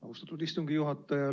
Austatud istungi juhataja!